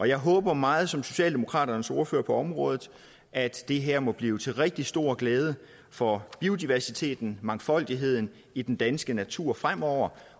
jeg håber meget som socialdemokraternes ordfører på området at det her må blive til rigtig stor glæde for biodiversiteten mangfoldigheden i den danske natur fremover